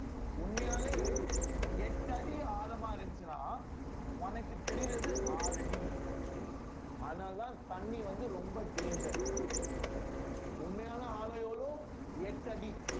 உண்மையாவே எட்டு அடி ஆழமா இருந்துச்சுன்னா உனக்கு தெரியறது ஆறு அடி அதனாலதான் தண்ணி வந்து ரொம்ப danger உண்மையான ஆழம் வெறும் எட்டடி